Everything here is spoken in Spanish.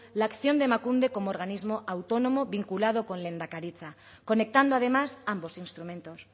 la acción de emakunde como organismo autónomo vinculado con lehendakaritza conectando además ambos instrumentos